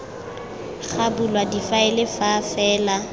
ga bulwa difaele fa fela